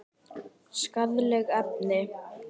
Skaðleg efni.